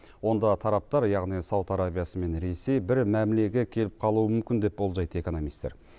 онда тараптар яғни сауд арабиясы мен ресей бір мәмілеге келіп қалуы мүмкін деп болжайды экономистер